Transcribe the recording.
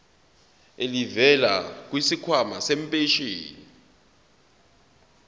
elivela kwisikhwama sempesheni